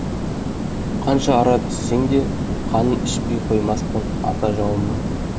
қанша ара түссең де қанын ішпей қоймаспын ата жауымның